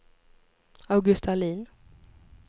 Augusta Ahlin